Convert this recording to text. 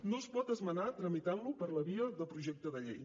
no es pot esmenar tramitant lo per la via de projecte de llei